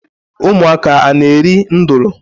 Umuaka a na eri nudulu?